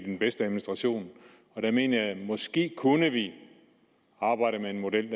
den bedste administration der mener jeg at vi måske kunne arbejde med en model